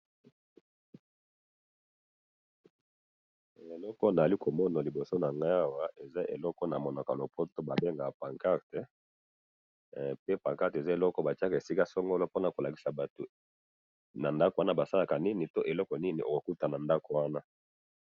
Eloko nazali komona na liboso na ngayi awa eza eloko oyo na munoko ya lopoto babengaka pancarte he pe pancarte eza eloko batiyaka esika songolo pona kolakisi batu na ndaku wana basalaka nini pe eloko nini okoki kokuta na ndaku wana .